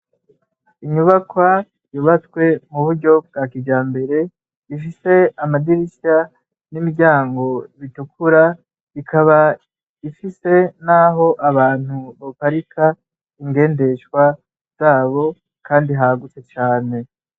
Inyubakwa yubatse mu buryo bwakijambere, Ifise amadirisha , nimiryango itukura ,ikaba Ifise naho abantu baparika ingendeshwa zabo Kandi hagutse cane.